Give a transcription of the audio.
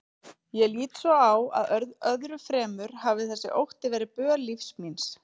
Ég lít svo á að öðru fremur hafi þessi ótti verið böl lífs míns.